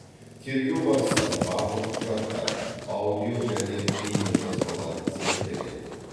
тергеу барысында барлық құжаттар аудио және бейнежазбалар зерттеледі